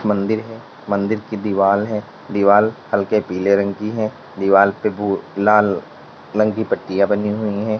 मंदिर है मंदिर की दीवाल है दीवाल हल्के पीले रंग की है दीवाल पे भू लाल रंग की पट्टियां बनी हुई है।